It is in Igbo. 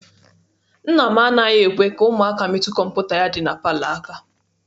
Nna m anaghị ekwe ka ụmụaka metụ kọmputa ya dị na palọ aka.